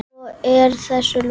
Svo er þessu lokið?